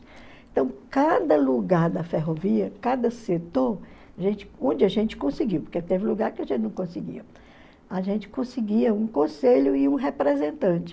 Então, cada lugar da ferrovia, cada setor, a gente onde a gente conseguiu, porque teve lugar que a gente não conseguia, a gente conseguia um conselho e um representante.